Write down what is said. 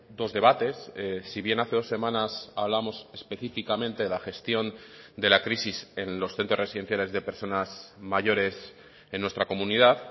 dos debates si bien hace dos semanas hablamos específicamente de la gestión de la crisis en los centros residenciales de personas mayores en nuestra comunidad